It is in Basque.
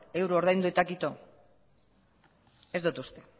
euro ordaindu eta kito ez dut uste